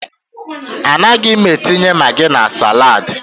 A naghị m etinye magi na salaadi.